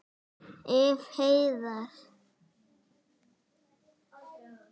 Ef. Heiðar